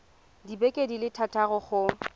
dibeke di le thataro go